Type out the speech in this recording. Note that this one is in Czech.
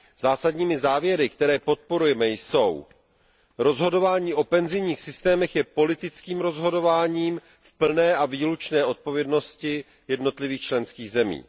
Zásadními závěry, které podporujeme, jsou rozhodování o penzijních systémech je politickým rozhodováním v plné a výlučné odpovědnosti jednotlivých členských zemí